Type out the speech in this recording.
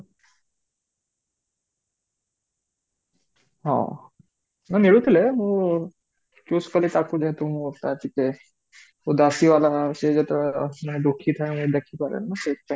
ହଁ ନାହିଁ ମିଳୁଥିଲେ ମୁଁ choose କଲି ତାକୁ ଯେହେତୁ ମୁଁ ମୁ ଦାସୀ ଵାଲା ଅଛି ଯେତେବେଳେ ଦୁଖୀ ଥାଏ ମୁଁ ଦେଖି ପାରେନି ନା ସେଥିପାଇଁ